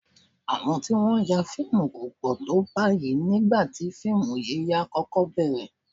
Àwọn tí wọ́n ń ya fíìmù kò pọ̀ tó báyìí nígbà tí fíìmù yíyà kọ́kọ́ bẹ̀ẹ̀rẹ̀